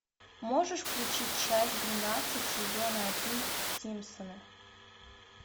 можешь включить часть двенадцать сезона один симпсоны